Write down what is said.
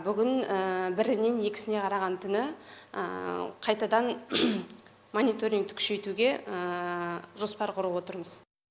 бүгін бірінен екісіне қараған түні қайтадан мониторингті күшейтуге жоспар құрып отырмыз